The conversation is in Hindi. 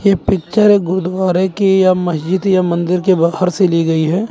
ये पिक्चर एक गुरुद्वारे के या मस्जिद या मंदिर के बाहर से ली गई है।